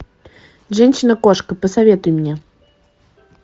женщина кошка посоветуй мне